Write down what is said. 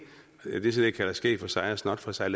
jeg kalder skæg for sig og snot for sig at